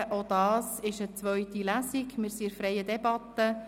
Auch das ist eine zweite Lesung, und wir führen eine freie Debatte.